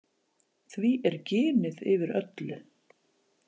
Því er ginið yfir öllu.